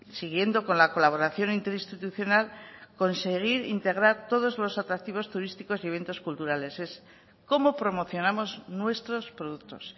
siguiendo con la colaboración interinstitucional conseguir integrar todos los atractivos turísticos y eventos culturales es cómo promocionamos nuestros productos